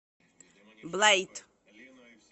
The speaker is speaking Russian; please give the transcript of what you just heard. блэйд